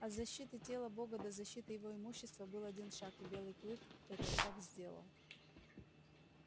от защиты тела бога до защиты его имущества был один шаг и белый клык этот шаг сделал